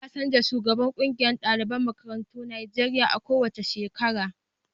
A na canja shugaban ƙungiyar daliban makarantun Najeriya a ko wace shekara